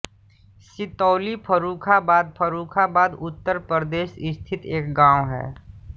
सितौली फर्रुखाबाद फर्रुखाबाद उत्तर प्रदेश स्थित एक गाँव है